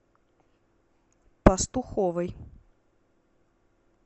пастуховой